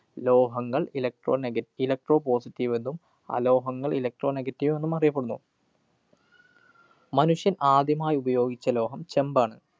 ലോഹങ്ങള്‍ electronegaelectropositive വെന്നും അലോഹങ്ങള്‍ electropositive വെന്നും അറിയപ്പെടുന്നു. മനുഷ്യന്‍ ആദ്യമായുപയോഗിച്ച ലോഹം ചെമ്പാണ്.